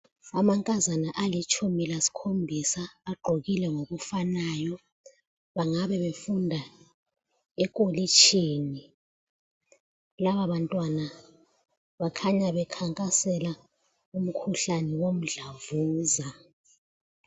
Amankazana alitshumi lasikhombisa agqokile ngokufanayo . Bangabe befunda ekolitshini ,laba bantwana bakhanya bekhankasela umkhuhlane womdlavuza.